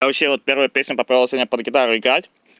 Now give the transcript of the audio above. а вообще вот первая песня попала сегодня под гитару играть